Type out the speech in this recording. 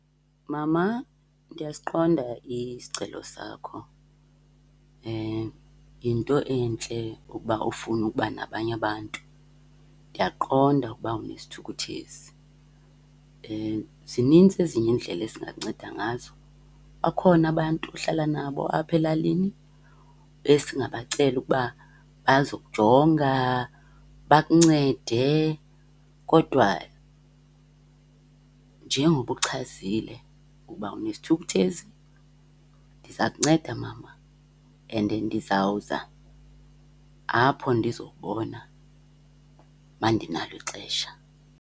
Mama, ndiyasiqonda isicelo sakho. Yinto entle ukuba ufune ukuba nabanye abantu, ndiyakuqonda ukuba unesithu, kuthezi. Zinintsi ezinye iindlela esingakunceda ngazo. Bakhona abantu ohlala nabo apha elalini esingabacela ukuba bazokujonga, bakuncede. Kodwa njengoba uchazile ukuba unesithukuthezi ndiza kunceda mama and ndizawuza apho ndizokubona uma ndinalo ixesha.